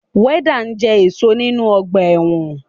Wọ́dà jẹ́ ẹ̀ṣọ́ nínu ọgbà ẹ̀wọ̀n